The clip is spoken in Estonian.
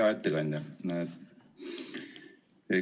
Hea ettekandja!